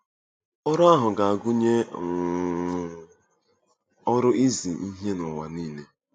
Ọrụ ahụ ga-agụnye um ọrụ izi ihe n'ụwa nile.